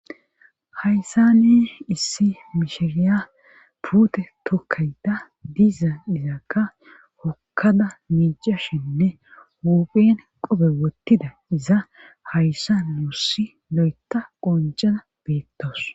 Hayssa ne issi mishiriya puute tokkayda diiza izakka hokkada miicashinne huphin qope wottida iza hayssa nuussi lo7eta qoncana beettoos